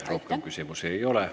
Teile rohkem küsimusi ei ole.